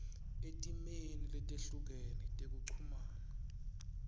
etimeni letehlukene tekuchumana